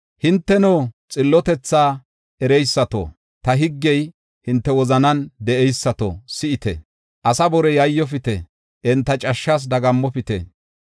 “Hinteno xillotethaa ereysato, ta higgey hinte wozanan de7eysato, si7ite. Asaa bore yayyofite; enta cashshas dagammopite.